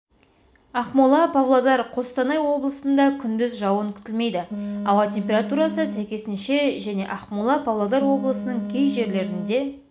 ақмола павлодар қостанай облысында күндіз жауын күтілмейді ауа температурасы сәйкесінше және ақмола павлодар облысының кей жерлерінде